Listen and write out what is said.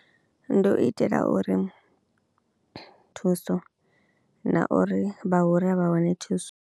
Ndi u itela uri thuso na uri vha hura vha wane thuso.